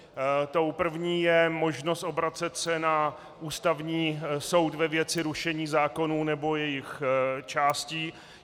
Tou první je možnost obracet se na Ústavní soud ve věci rušení zákonů nebo jejich částí.